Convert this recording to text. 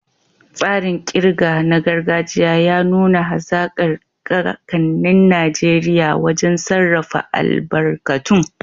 Tsarin ƙirga na gargajiya ya nuna hazaƙar kakannin Najeriya wajen sarrafa albarkatun.